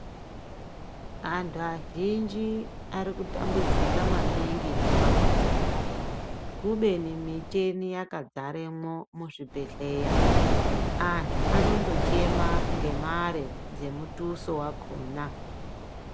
Antu azhinji arikutambudzika maningi mumamizimwo kubeni micheni yakazaremwo muzvibhedhleya. Antu anondochema ngemare dzemutuso wakhona.